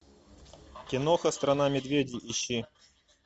киноха страна медведей ищи